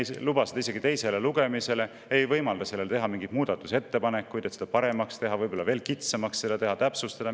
Me ei luba seda isegi teisele lugemisele, ei võimalda selle kohta muudatusettepanekuid teha, et seda paremaks muuta, võib-olla veel kitsamaks teha, seda täpsustada.